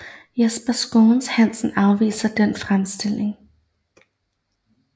Jesper Schou Hansen afviser den fremstilling